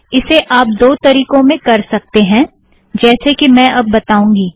इसे आप दो तरीकों में कर सकतें हैं जैसे कि मैं अब बताऊँगी